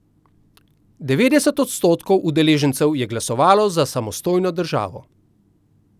Devetdeset odstotkov udeležencev je glasovalo za samostojno državo.